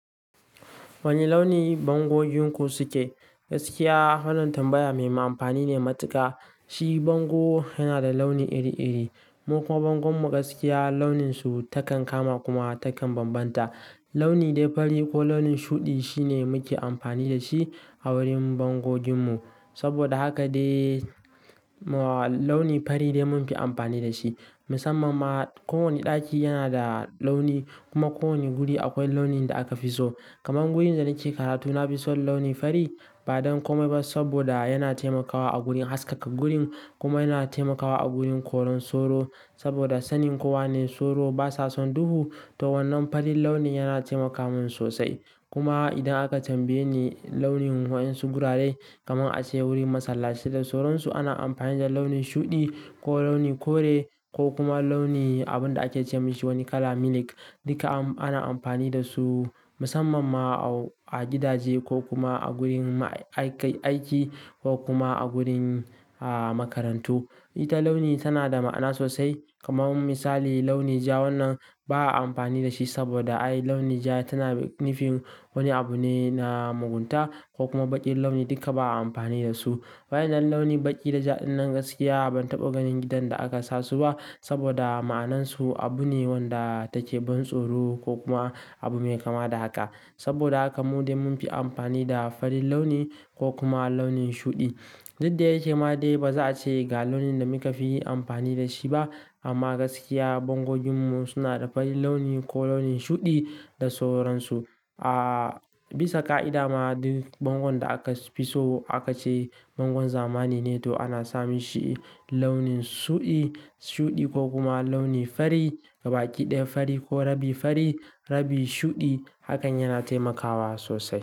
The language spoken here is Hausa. Wane launi bangojinku suke? Gaskiya, wannan tambaya mai ma amfani ne matuƙa. Shi bango yana da launi iri iri, mukuma bangon mu gaskiya launin su takan kama kuma takan bambanta. Launi dai fari ko launin shuɗi shine muke amfani da shi a wurin bangogin mu. Saboda haka de launi fari de mun fi amfani da shi. Musamman ma ko wane ɗaki yana da launi kuma ko wane guri akwai launin da aka fi so. Kaman wurin da nake karatu nafi son launi fari ba don komai ba saboda yana taimakawa a gurin haskaka gurin kuma yana taimakawa a gurin koran soro. Saboda sanin kowa ne soro basa son duhu to wannan farin launi yana taimaka min sosai. Kuma idan aka tambaye ni launin wa in su gurare kaman ace wurin masallaci da sauransu ana amfani da launin shuɗi ko launin kore ko kuma launi abun da ake ce mi shi wani kala milk. Duka ana amfani da su musamman ma a gidaje ko kuma a gurin aiki ko kuma a gurin makarantu. Ita launi tana da ma'ana sosai kaman misali launi ja wannan ba a amfani da shi saboda ai launi ja tana nufin wani abu ne na mugunta ko kuma baƙin launi duka ba a amfani da su. Waƴan nan launin baƙi da ja ɗin nan gaskiya ban taɓa ganin gidan da aka sa su ba saboda ma'anan su abu ne wanda take ban tsoro ko kuma abu mai kama da haka. Saboda haka mu dai mun fi amfani da farin launi ko kuma launin shuɗi. Duk da yake ma dai baza ace ga launin da muka fi amfani da shi ba. Amma gaskiya bangogin mu suna da fari launi ko launin shuɗi da sauransu. A Bisa ka'ida ma duk bangon da aka fi so aka ce bangon zamani ne to ana samun shi launin shuɗi shuɗi ko kuma launi fari, gabaki ɗaya fari ko rabi fari rabi shuɗi hakan yana taimakawa sosai.